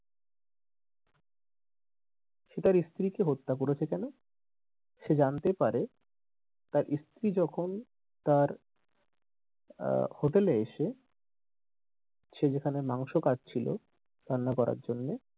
সে তার স্ত্রীকে হত্যা করেছে কেনো সে জানতে পারে তার স্ত্রী যখন তার আহ হোটেলে এসে সে যেখানে মাংস কাটছিল রান্না করার জন্য,